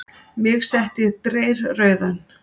Mig setti dreyrrauðan.